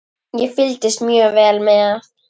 Ég fylgist mjög vel með.